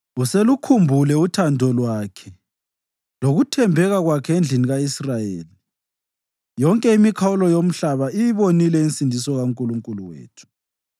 Uselukhumbule uthando lwakhe lokuthembeka Kwakhe endlini ka-Israyeli; yonke imikhawulo yomhlaba iyibonile insindiso kaNkulunkulu wethu.